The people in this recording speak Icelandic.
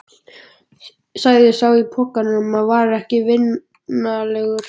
sagði sá í pokanum og var ekki vinalegur.